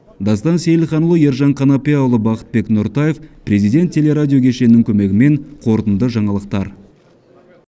дастан сейілханұлы ержан қанапияұлы бақытбек нұртаев президент телерадио кешенінің көмегімен қорытынды жаңалықтар